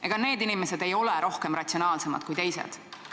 Ega need inimesed ei ole rohkem ratsionaalsed kui teised.